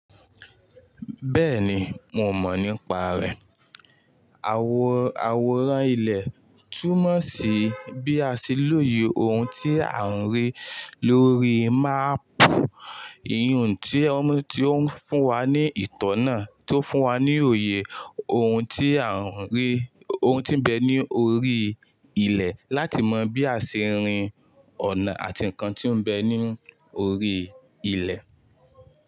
Bẹ́ẹ̀ni, mo mọ̀ nípa rẹ̀. Àwòrán ilẹ̀ túmọ̀ sí bí a ṣe lòye ohun tí a n rí lórí máàpù. Iyẹ́n tí ó ń fún wa ní ìtọ́nà tó fún wa ní òye ohùn ti a n ohun tí ń bẹ ní orí ilẹ̀ láti mọ bí a ṣe rín ọ̀nà àti nǹkan tí ń bẹ ní orí ilẹ̀